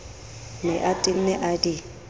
ne a tenne a di